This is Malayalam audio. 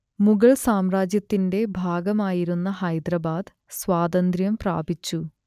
മുഗൾ സാമ്രാജ്യത്തിന്റെ ഭാഗമായിരുന്ന ഹൈദരാബാദ് സ്വാതന്ത്ര്യം പ്രാപിച്ചു